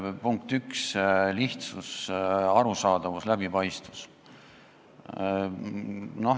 Punkt 1: lihtsus, arusaadavus, läbipaistvus.